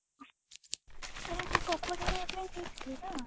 ଆରେ ମୁଁ କପଡା ଆଣିବାକୁ ଯାଇଥିଲି ନା